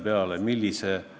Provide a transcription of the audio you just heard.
Me mäletame neid asju erinevalt.